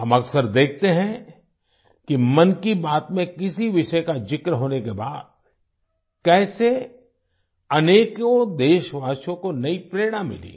हम अक्सर देखते हैं कि मन की बात में किसी विषय का जिक्र होने के बाद कैसे अनेकों देशवासियों को नई प्रेरणा मिली